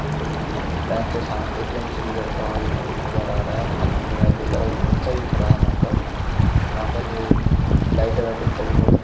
bank के साथ ATM से गुजरता हुआ एक आदमी नजर आ रहा है हाथ में मोबाईल ले कर और एक बच्चा भी खड़ा है वहां पर यहाँ पर वो लाइटइंग वाइटिंग कल बहोत अच्छा --